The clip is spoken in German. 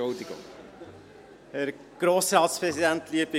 Entschuldigung, dem Regierungspräsidenten.